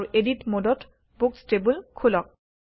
আৰু এডিট মোডত books table খোলক